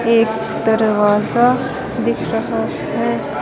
एक दरवाजा दिख रहा है।